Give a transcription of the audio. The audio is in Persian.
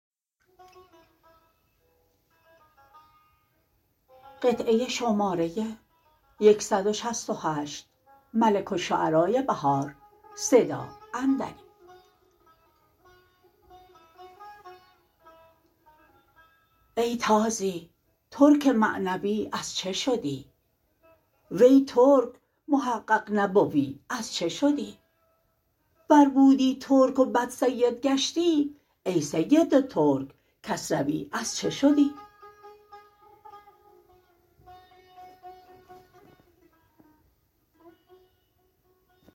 ای تازی ترک معنوی از چه شدی وی ترک محقق نبوی از چه شدی ور بودی ترک و بعد سید گشتی ای سید ترک کسروی از چه شدی